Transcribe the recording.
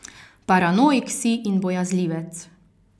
Paranoik si in bojazljivec.